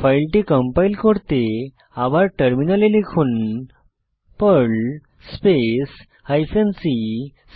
ফাইলটি কম্পাইল করতে আবার টার্মিনালে লিখুন পার্ল স্পেস হাইফেন c